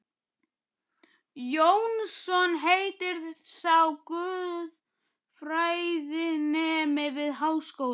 Jónsson heitir sá, guðfræðinemi við Háskólann.